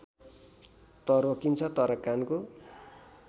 त रोकिन्छ तर कानको